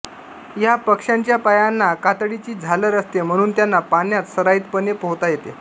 या पक्ष्यांच्या पायांना कातडीची झालर असते म्हणून त्यांना पाण्यात सराइतपणे पोहता येते